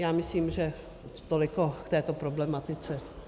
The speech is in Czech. Já myslím, že toliko k této problematice.